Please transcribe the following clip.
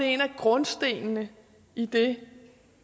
en af grundstenene i det